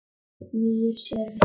Snýr sér við.